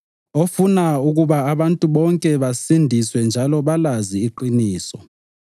ofuna ukuba abantu bonke basindiswe njalo balazi iqiniso.